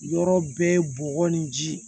Yɔrɔ bɛɛ bɔgɔ ni ji